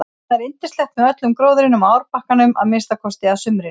Þarna er yndislegt með öllum gróðrinum á árbakkanum að minnsta kosti að sumrinu.